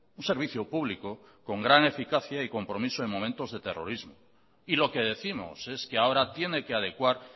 un servicio público con gran eficacia y compromiso en momentos de terrorismo y lo que décimos es que ahora tiene que adecuar